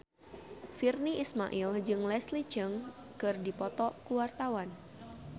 Virnie Ismail jeung Leslie Cheung keur dipoto ku wartawan